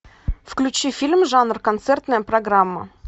включи фильм жанр концертная программа